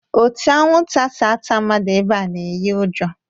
Ote anwụnta si ata mmadụ ebea na-eyi ụjọ